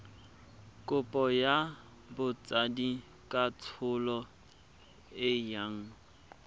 kopo ya botsadikatsholo e yang